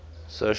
solar gods